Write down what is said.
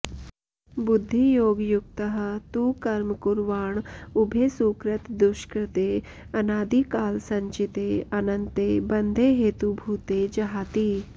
बुद्धियोगयुक्तः तु कर्म कुर्वाण उभे सुकृतदुष्कृते अनादिकालसञ्चिते अनन्ते बन्धेहेतुभूते जहाति